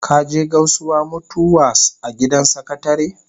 Ka je Gausuwa mutu was a gidan sakatare?